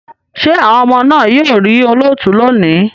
Ṣé àwọn ọmọ náà yóò rí olóòtú lónìí?